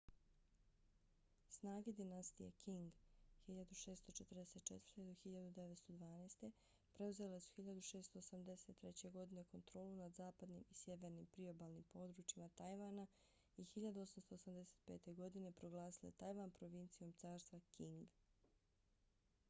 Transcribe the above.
snage dinastije qing 1644-1912 preuzele su 1683. godine kontrolu nad zapadnim i sjevernim priobalnim područjima tajvana i 1885. godine proglasile tajvan provincijom carstva qing